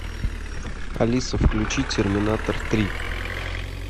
алиса включи терминатор три